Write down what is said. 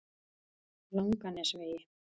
Langanesvegi